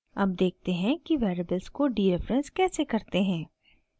अब देखते हैं कि वेरिएबल्स को डीरेफरेंस कैसे करते हैं